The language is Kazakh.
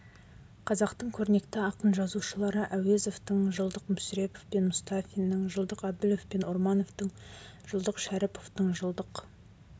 қазақтың көрнекті ақын-жазушылары әуезовтың жылдық мүсірепов пен мұстафиннің жылдық әбілев пен ормановтың жылдық шәріповтың жылдық